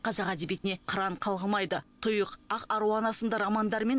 қазақ әдебиетіне қыран қалғымайды тұйық ақ аруана сынды романдар мен